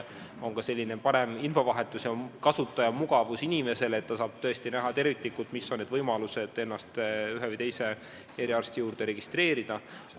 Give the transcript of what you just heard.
On ka parem infovahetus ja suurem kasutajamugavus: inimene saab tõesti terviklikult näha, millised on võimalused ennast ühe või teise eriarsti juurde registreerida.